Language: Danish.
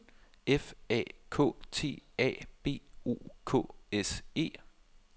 F A K T A B O K S E